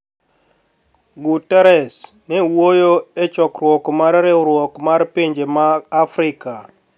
Guterres ne wuoyo e chokruok mar riwruok mar pinje ma Afrika